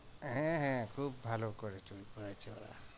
হ্যাঁ হ্যাঁ খুব ভালো করে চুরি করেছে ওরা।